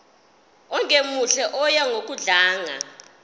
ongemuhle oya ngokudlanga